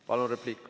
Palun, repliik.